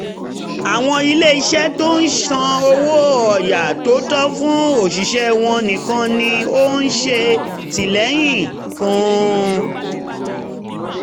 àwọn iléeṣẹ́ tó ń san owó ọ̀yà tó tọ́ fún òṣìṣẹ́ wọn nìkan ni ó ń ṣètìlẹyìn fún